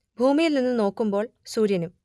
ഭൂമിയിൽ നിന്നു നോക്കുമ്പോൾ സൂര്യനും